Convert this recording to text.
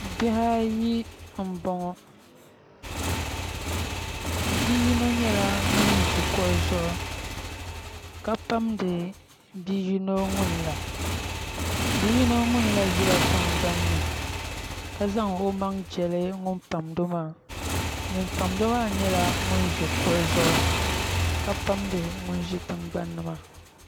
Bihi ayi n boŋo bia yino nyɛla ŋun ʒi kuɣu zuɣu ka pamdi bia yino ŋunla bia yino ŋunla ʒila tingbanni ka zaŋ o maŋ jɛli ŋun pamdo maa ŋun pamdo maa nyɛla ŋun ʒi kuɣu zuɣu ka pamdi ŋun ʒi tingbanni maa